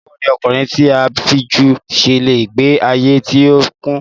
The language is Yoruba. Báwo ni ọkùnrin tí a fibú ṣe le gbe ayé tí ó kún?